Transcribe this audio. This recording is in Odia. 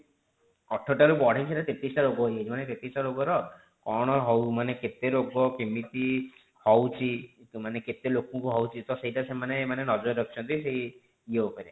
ଅଠର ଟା ରୁ ବଢିକି ସେଟା ତେତିଶ ଟା ରୋଗ ହେଇ ଯାଇଛି ମାନେ ତେତିଶ ଟା ରୋଗର କଣ ହଉ ମାନେ କେତେ ରୋଗ କେମିତି ହୋଉଛି ମାନେ କେତେ ଲୋକଙ୍କୁ ହୋଉଛି ତ ସେଇଟା ସେମାନେ ମାନେ ନଜର ରଖିଛନ୍ତି ଯୋଉ ଇଏ ଉପରେ